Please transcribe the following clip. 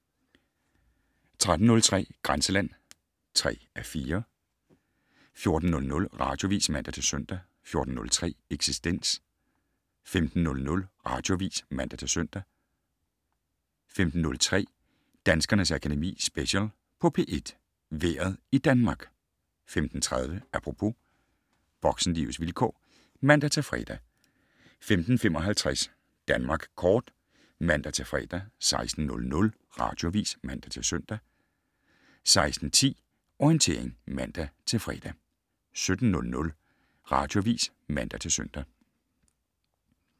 13:03: Grænseland (3:4) 14:00: Radioavis (man-søn) 14:03: Eksistens 15:00: Radioavis (man-søn) 15:03: Danskernes Akademi Special på P1: Vejret i Danmark 15:30: Apropos - voksenlivets vilkår (man-fre) 15:55: Danmark Kort (man-fre) 16:00: Radioavis (man-søn) 16:10: Orientering (man-fre) 17:00: Radioavis (man-søn)